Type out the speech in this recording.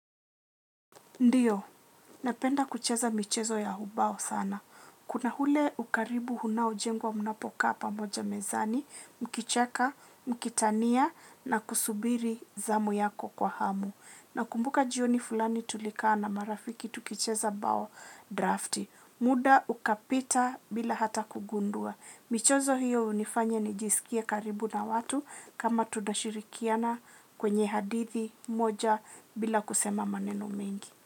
Ndiyo, napenda kucheza michezo ya ubao sana. Kuna hule ukaribu unaujengwa mnapoka pamoja mezani, mkicheka, mkitania na kusubiri zamu yako kwa hamu. Nakumbuka jioni fulani tulika na marafiki tukicheza bao drafti. Muda ukapita bila hata kugundua. Michezo hiyo hunifanya nijisikie karibu na watu kama tunashirikiana kwenye hadithi moja bila kusema maneno mengi.